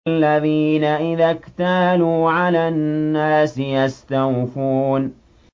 الَّذِينَ إِذَا اكْتَالُوا عَلَى النَّاسِ يَسْتَوْفُونَ